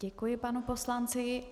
Děkuji panu poslanci.